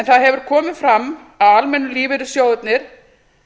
það hefur komið fram að almennu lífeyrissjóðirnir